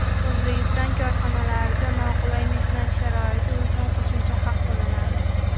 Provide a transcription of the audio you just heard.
O‘zbekiston korxonalarida noqulay mehnat sharoiti uchun qo‘shimcha haq to‘lanadi.